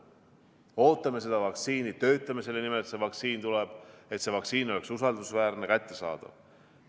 Ootame seda vaktsiini, töötame selle nimel, et see vaktsiin tuleb, et see vaktsiin oleks usaldusväärne, kättesaadav.